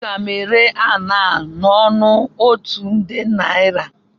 Aga m ere ala n'ọnụ otu nde naira